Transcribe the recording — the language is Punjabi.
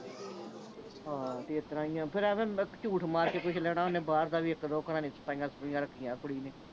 ਹਾਂ ਇਸਤਰਾਂ ਹੀ ਆ ਫੇਰ ਐਵੈ ਝੂਠ ਮਾਰ ਕੇ ਕੁਛ ਲੈਣਾ ਬਾਹਰ ਦਾ ਵੀ ਇੱਕ ਦੋ ਘਰਾਂ ਦੀਆਂ ਸਫਾਈਆਂ ਸਫੁਈਆਂ ਰੱਖੀਆਂ ਕੁੜੀ ਨੇ